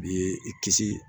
B'i kisi